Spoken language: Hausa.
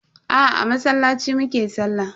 Aa, a masallaci mu ke sallah.